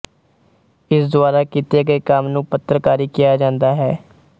ਇਸ ਦੁਆਰਾ ਕੀਤੇ ਗਏ ਕੰਮ ਨੂੰ ਪੱਤਰਕਾਰੀ ਕਿਹਾ ਜਾਂਦਾ ਹੈ